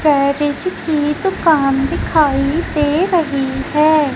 Garage की दुकान दिखाई दे रही है।